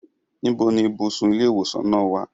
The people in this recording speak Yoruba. Ibo ni ibùsùn ilé ìwòsàn náà wà?